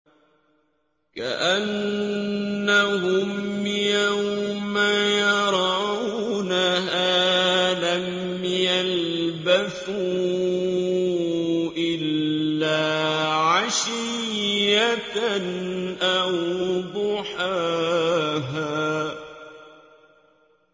كَأَنَّهُمْ يَوْمَ يَرَوْنَهَا لَمْ يَلْبَثُوا إِلَّا عَشِيَّةً أَوْ ضُحَاهَا